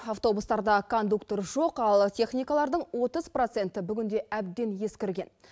автобустарда кондуктор жоқ ал техникалардың отыз проценті бүгінде әбден ескірген